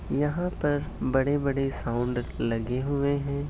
यहा पर बड़े बड़े साउंड लगे हुये है।